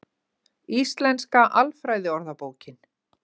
Íslenska alfræðiorðabókin.